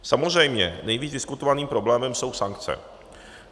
Samozřejmě nejvíc diskutovaným problémem jsou sankce.